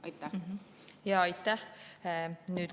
Aitäh!